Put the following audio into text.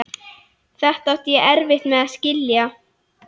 Þetta átti ég erfitt með að skilja.